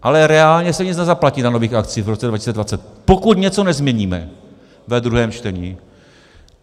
Ale reálně se nic nezaplatí na nových akcích v roce 2020, pokud něco nezměníme ve druhém čtení.